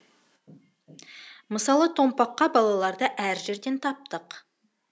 мысалы томпаққа балаларды әр жерден таптық